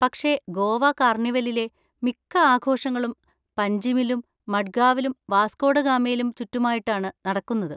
പക്ഷെ ഗോവ കാർണിവലിലെ മിക്ക ആഘോഷങ്ങളും പൻജിമിലും മഡ്ഗാവിലും വാസ്കോ ഡ ഗാമയിലും ചുറ്റുമായിട്ടാണ് നടക്കുന്നത്.